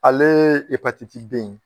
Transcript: Ale epatiti b in